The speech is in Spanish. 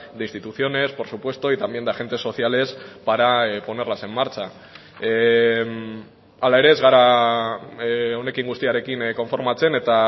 de instituciones por supuesto y también de agentes sociales para ponerlas en marcha hala ere ez gara honekin guztiarekin konformatzen eta